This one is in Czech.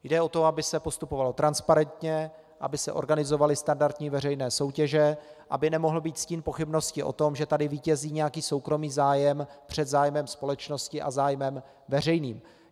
Jde o to, aby se postupovalo transparentně, aby se organizovaly standardní veřejné soutěže, aby nemohl být stín pochybnosti o tom, že tady vítězí nějaký soukromý zájem před zájmem společnosti a zájmem veřejným.